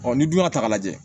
ni dun y'a ta k'a lajɛ